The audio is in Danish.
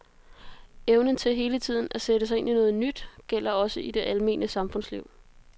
Evnen til hele tiden at sætte sig ind i noget nyt gælder også i det almene samfundsliv.